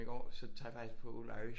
Går så tager jeg faktisk på Old Irish